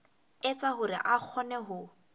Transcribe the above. etsa hore a kgone ho